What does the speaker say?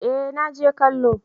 eh na je kallo